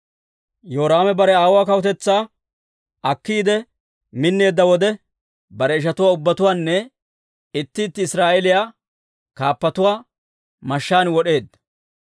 Yoraame bare aawuwaa kawutetsaa akkiide minneedda wode, bare ishatuwaa ubbatuwaanne itti itti Israa'eeliyaa kaappatuwaa mashshaan wod'eedda.